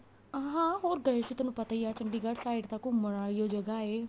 ਹਾਂ ਹੋਰ ਗਏ ਸੀ ਤੈਨੂੰ ਪਤਾ ਈ ਏ ਚੰਡੀਗੜ੍ਹ side ਤਾਂ ਘੁੰਮਣ ਵਾਲੀ ਜਗ੍ਹਾ ਏ